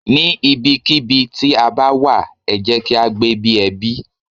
Ní ibi kí ibi tí a bá wà, ẹ jẹ́ kí á gbé bí ẹbí.